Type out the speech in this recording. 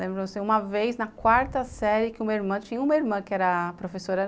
Lembro-me uma vez, na quarta série, que tinha uma irmã tinha uma irmã que era professora.